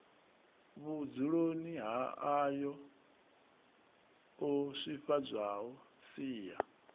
vhudzuloni ha ayoo swifhadzwaho sia